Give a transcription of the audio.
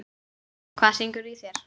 Hvað syngur í þér?